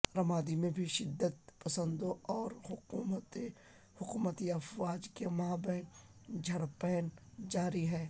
رمادی میں بھی شدت پسندوں اور حکومتی افواج کے مابین جھڑپیں جاری ہیں